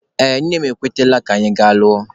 Ee, nne m ekwetela na anyị ga-alụ.